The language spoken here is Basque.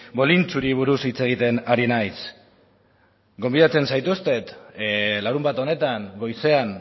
bolintxuri buruz hitz egiten ari naiz gonbidatzen zaituztet larunbat honetan goizean